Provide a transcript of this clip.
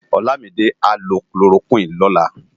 Olamide á lò kólórókwin lòlá